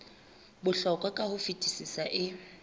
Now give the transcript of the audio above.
bohlokwa ka ho fetisisa e